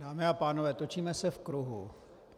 Dámy a pánové, točíme se v kruhu.